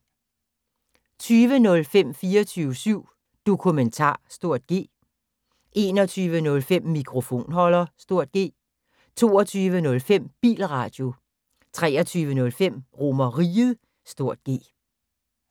20:05: 24syv Dokumentar (G) 21:05: Mikrofonholder (G) 22:05: Bilradio 23:05: RomerRiget (G)